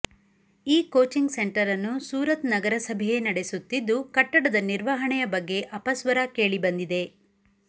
ಈ coaching centre ಅನ್ನು ಸೂರತ್ ನಗರಸಭೆಯೇ ನಡೆಸುತ್ತಿದ್ದು ಕಟ್ಟಡದ ನಿರ್ವಹಣೆಯ ಬಗ್ಗೆ ಅಪಸ್ವರ ಕೇಳಿಬಂದಿದೆ